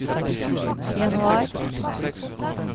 januar